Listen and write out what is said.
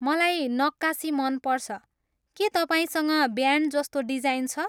मलाई नक्कासी मन पर्छ। के तपाईँसँग ब्यान्डजस्तो डिजाइन छ?